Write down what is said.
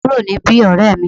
Ku ro ni bi, orẹ́ mi!